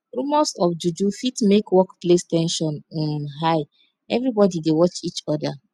rumors of juju fit make workplace ten sion um high everybody dey watch each oda